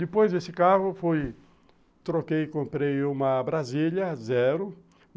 Depois desse carro, fui, troquei e comprei uma Brasília, zero.